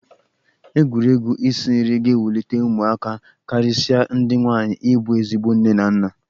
Egwuregwu isi nri ga-ewulite ụmụaka karịsịa ndị nwaanyi ịbụ ezigbo nne na nna.